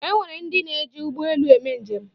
E nwere ndị na-eji ụgbọ elu eme njem.